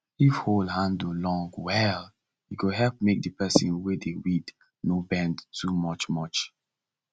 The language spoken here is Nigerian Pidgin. if hoe handle long well e go help make the person wey dey weed no bend too much much